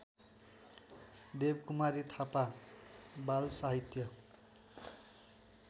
देवकुमारी थापा बालसाहित्य